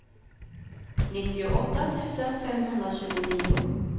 nittioåtta tusen femhundratjugonio